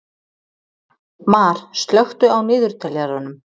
Mar, slökktu á niðurteljaranum.